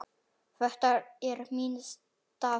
Þetta er minn staður.